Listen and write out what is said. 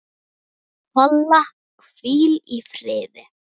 Kolla, hvíl í friði.